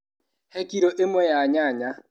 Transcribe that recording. He kiro ĩmwe ya nyanya.